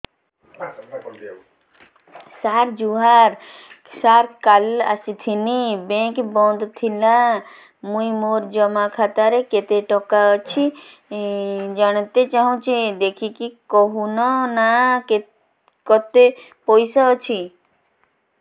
ସାର ଜୁହାର ସାର କାଲ ଆସିଥିନି ବେଙ୍କ ବନ୍ଦ ଥିଲା ମୁଇଁ ମୋର ଜମା ଖାତାରେ କେତେ ଟଙ୍କା ଅଛି ଜାଣତେ ଚାହୁଁଛେ ଦେଖିକି କହୁନ ନା କେତ ପଇସା ଅଛି